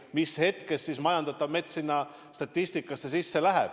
Või mis hetkest majandatav mets sinna statistikasse läheb?